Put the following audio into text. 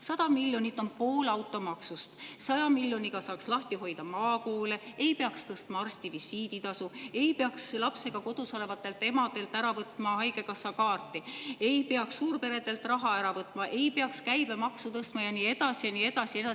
100 miljonit on pool automaksust, 100 miljoniga saaks lahti hoida maakoole, ei peaks tõstma arstivisiiditasu, ei peaks lapsega kodus olevatelt emadelt ära võtma haigekassakaarti, ei peaks suurperedelt raha ära võtma, ei peaks käibemaksu tõstma ja nii edasi ja nii edasi.